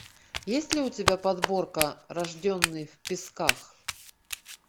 есть ли у тебя подборка рожденный в песках